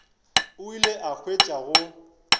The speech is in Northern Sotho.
o ile a hwetša go